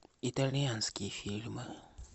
итальянские фильмы